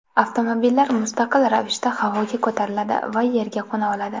Avtomobillar mustaqil ravishda havoga ko‘tariladi va yerga qo‘na oladi.